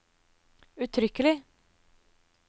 uttrykkelig